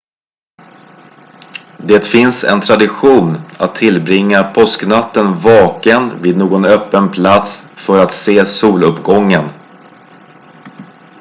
det finns en tradition att tillbringa påsknatten vaken vid någon öppen plats för att se soluppgången